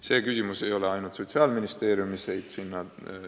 See probleem ei ole ainult Sotsiaalministeeriumi haldusalas.